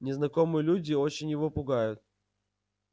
незнакомые люди очень его пугают